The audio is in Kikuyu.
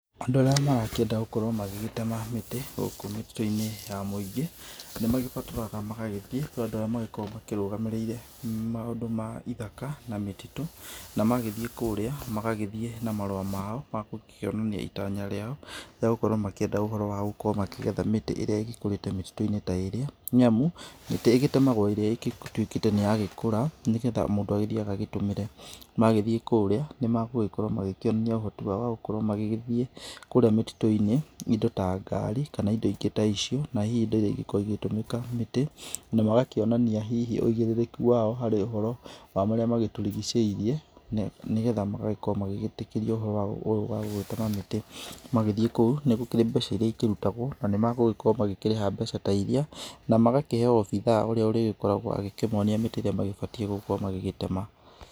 Andũ arĩa marakĩenda gũkorwo magĩgĩtema mĩtĩ gũkũ mĩtitũ-inĩ ya mũingĩ, nĩ magĩbataraga magagĩthiĩ kũrĩ andũ arĩa magĩkoragwo marũgamĩrĩire maũndũ ma ithaka na mĩtitũ na magĩthiĩ kũrĩa magagĩthiĩ na marũa mao ma gũkĩonania itanya rĩao rĩa gũgĩkorwo makĩenda ũhoro wa gũkorwo makĩgetha mĩtĩ ĩrĩa ĩgĩkũrĩte mĩtitũ-inĩ ta ĩrĩa nĩ amu, mĩtĩ ĩgĩtemagwo ĩrĩa ĩtuĩkĩte atĩ nĩ yagĩkũra, nĩgetha mũndũ agĩthiĩ agagĩtũmĩre, magĩthiĩ kũrĩa nĩ magũgĩkorwo magĩĩkĩonia ũhoti wao wa gũkorwo magĩgĩthiĩ kũrĩa mĩtitũ-inĩ, indo ta ngari, kana indo ingĩ ta icio na hihi indo iria igĩkoragwo igĩtũmika mĩtĩ na magakĩonania hihi ũigĩrĩrĩki wao harĩ ũhoro wa marĩa magĩtũrigicĩirie, nĩgetha magagĩkorwo magĩgitĩkĩrio ũhoro ũyũ wa gũgĩtema mĩtĩ, magĩthiĩ kũu nĩ gũkĩrĩ mbeca iria ikĩrutagwo na nĩ magũgĩkorwo magĩkĩrĩha mbeca ta iria, na magakĩheo obithaa ũrĩa ũrĩgĩkoragwo agĩkĩmonia mĩtĩ ĩrĩa magĩbatiĩ gũgĩkorwo magĩgĩtema.